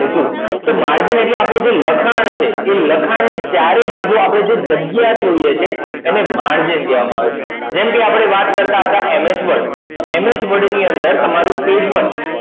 તો margin તો આપનું જે લખાણ છે એ લખાણ ની ચારે બાજું જે આપડે જાગીય છોડીએ છે એને margin કહેવા માં આવે છે જેમ કૅ આપડે વાત કરતાંતા ms word તો ms word ની અંદર તમારું page word